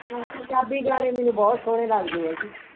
ਪੰਜਾਬੀ ਗਾਣੇ ਮੈਨੂੰ ਬਹੁਤ ਲੱਗਦੇ ਆ ਜੀ